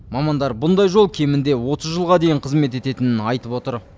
мамандар мұндай жол кемінде отыз жылға дейін қызмет ететінін айтып отыр